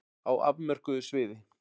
Á afmörkuðu sviði.